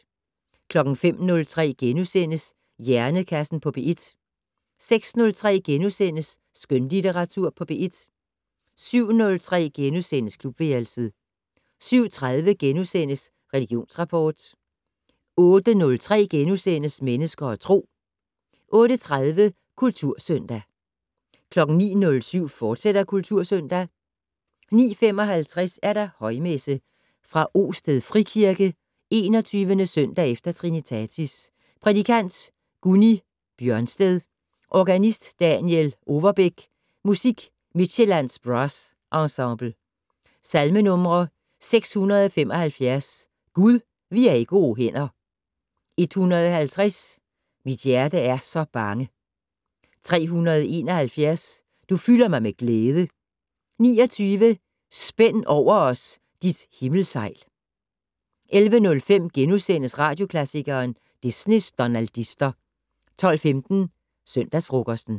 05:03: Hjernekassen på P1 * 06:03: Skønlitteratur på P1 * 07:03: Klubværelset * 07:30: Religionsrapport * 08:03: Mennesker og Tro * 08:30: Kultursøndag 09:07: Kultursøndag, fortsat 09:55: Højmesse - Fra Osted Frikirke. 21. søndag efter trinitatis. Prædikant: Gunni Bjørsted. Organist: Daniel Overbeck. Musik: Midtsjællands Brass Enseble. Salmenumre: 675: "Gud, vi er i gode hænder". 150: "Mit hjerte er så bange". 371: "Du fylder mig med glæde". 29: "Spænd over os dit himmelsejl". 11:05: Radioklassikeren: Disneys donaldister * 12:15: Søndagsfrokosten